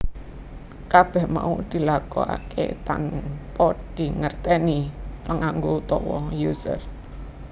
Kabèh mau dilakokaké tanpa dingertèni panganggo utawa user